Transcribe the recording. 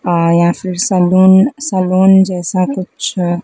आया फिर salon salon जैसा कुछ--